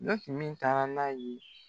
Ne kun men taa n'a ye